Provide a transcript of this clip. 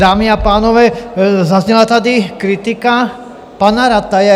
Dámy a pánové, zazněla tady kritika pana Rataje.